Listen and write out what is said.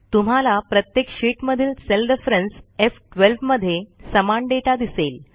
तुम्हाला प्रत्येक शीटमधील सेल रेफरन्स एफ 12 मध्ये समान डेटा दिसेल